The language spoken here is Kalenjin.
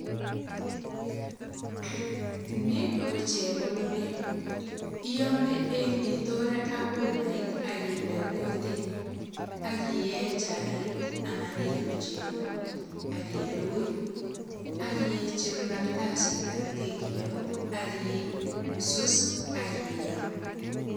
Ni ko chebololet. Iyome eng itore ak umait ak inde kutit, ak iyee chaik anan ilu chego ak ilugui ak icheru kartasitab kekiyot ak isus ak iyam